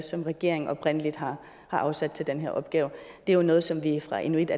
som regeringen oprindelig har afsat til den her opgave det er jo noget som vi fra inuit